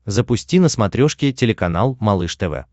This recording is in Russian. запусти на смотрешке телеканал малыш тв